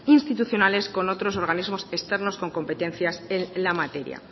institucionales con otros organismos externos con competencias en la materia